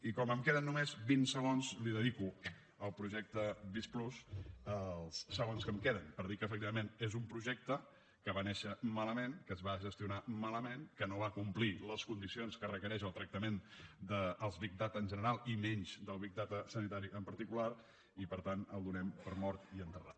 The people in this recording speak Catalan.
i com que em queden només vint segons li dedico al projecte visc+ els segons que em queden per dir que efectivament és un projecte que va néixer malament que es va gestionar malament que no va complir les condicions que requereix el tractament dels big data en general i menys del nem per mort i enterrat